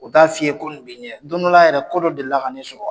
U t'a f'i ɲɛ ko bɛ i ɲɛ don dɔ la yɛrɛ, kɔ dɔ deli la ka ne sɔrɔ